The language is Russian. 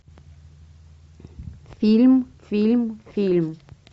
фильм фильм фильм